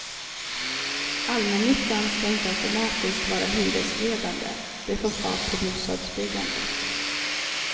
Allmännyttan ska inte automatiskt vara hyresledande, det får fart på bostadsbyggandet.